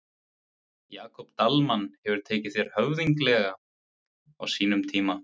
Jakob Dalmann hefur tekið þér höfðinglega á sínum tíma?